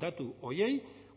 datu horiei